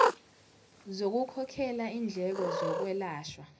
zokukhokhela indleko zokwelashwa